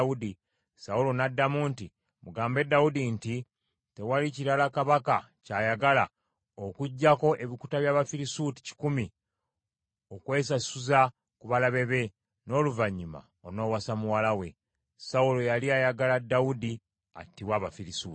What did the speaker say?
Sawulo n’addamu nti, “Mugambe Dawudi nti, ‘Tewali kirala kabaka ky’ayagala okuggyako ebikuta by’Abafirisuuti kikumi okwesasuza ku balabe be, n’oluvannyuma onoowasa muwala we.’ ” Sawulo yali ayagala Dawudi attibwe Abafirisuuti.